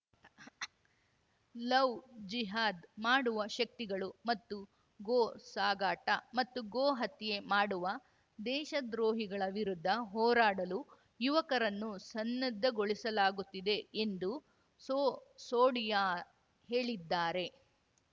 love ಜಿಹಾದ್‌ ಮಾಡುವ ಶಕ್ತಿಗಳು ಮತ್ತು ಗೋ ಸಾಗಾಟ ಮತ್ತು ಗೋ ಹತ್ಯೆ ಮಾಡುವ ದೇಶದ್ರೋಹಿಗಳ ವಿರುದ್ಧ ಹೋರಾಡಲು ಯುವಕರನ್ನು ಸನ್ನದ್ಧಗೊಳಿಸಲಾಗುತ್ತಿದೆ ಎಂದು ಸೋ ಸೋಡಿಯಾ ಹೇಳಿದ್ದಾರೆ